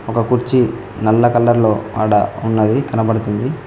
ఒక కుర్చీ నల్ల కలర్లో ఆడ ఉన్నది కనబడుతుంది